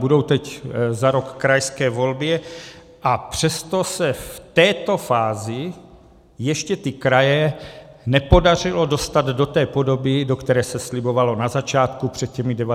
Budou teď za rok krajské volby, a přesto se v této fázi ještě ty kraje nepodařilo dostat do té podoby, do které se slibovalo na začátku před těmi 19 lety.